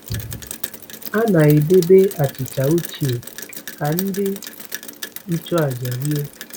A na-edebe achịcha ochie ka ndị nchụàjà rie.